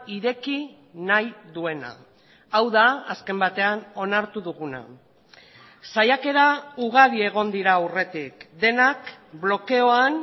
ireki nahi duena hau da azken batean onartu duguna saiakera ugari egon dira aurretik denak blokeoan